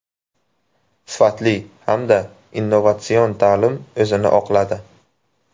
Sifatli hamda innovatsion ta’lim o‘zini oqladi.